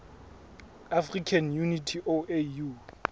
african unity oau